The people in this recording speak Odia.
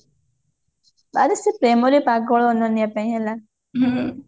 ଆରେ ସେ ପ୍ରେମରେ ପାଗଳ ଅନନ୍ୟା ପାଇଁ ହେଲା